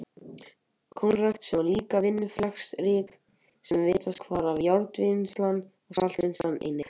Kornrækt, sem líka var vinnuaflsfrek, lagðist víðast hvar af, járnvinnsla og saltvinnsla einnig.